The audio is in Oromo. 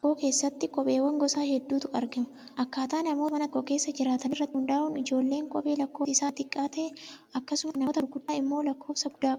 Mana nama tokkoo keessatti kopheewwan gosa hedduutu argama. Akkaataa namoota mana tokko keessa jiraatanii irratti hundaa'uun ijoolleen kophee lakkoofsi isaa xixiqqaa ta'e akkasumas kan namoota gurguddaa immoo lakkoofsa guddaa qaba.